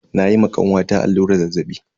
Na yi ma kanwata alluran zazzaɓi.